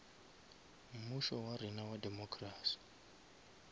mmušo wa rena wa democracy